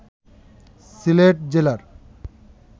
সিলেট জেলার